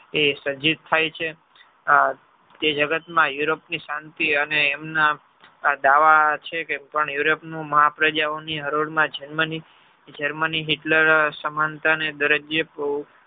એ સર્જિત થઈ છે આ તે જગત માં europe ની શાંતિ અને એમના દાવા છે કે europe ની મહા પ્રજા ઓની હરોળ માં Germany Germany Hitler સમાનતા ને દરે કે જે